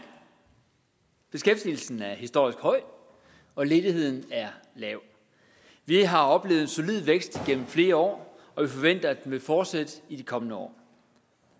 beskæftigelsen er historisk høj og ledigheden er lav vi har oplevet en solid vækst igennem flere år og vi forventer at den vil fortsætte i de kommende år